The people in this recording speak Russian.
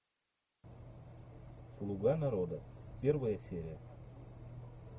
слуга народа первая серия